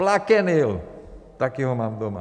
Plaquenil - také ho mám doma.